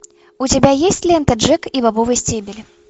у тебя есть лента джек и бобовый стебель